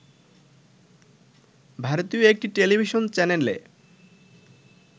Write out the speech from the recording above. ভারতীয় একটি টেলিভিশন চ্যানেলে